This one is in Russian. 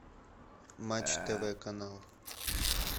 матч тв канал